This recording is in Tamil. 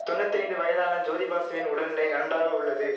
தொன்னித்தைந்து வயதான ஜோதிபாசுவின் உடல்நிலை நன்றாக உள்ளது